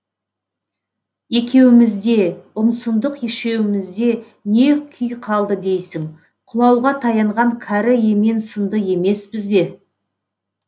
екеуімізде ұмсындық ешеуімізде не күй қалды дейсің құлауға таянған кәрі емен сынды емеспіз бе